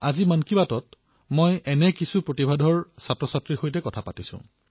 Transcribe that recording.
আজিৰ মন কী বাতত আমি এনে কিছু প্ৰতিভাশালী সন্তানৰ সৈতে কথা পাতিম